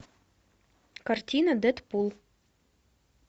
картина дэдпул